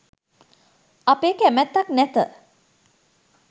අපේ කැමැත්තක් නැත.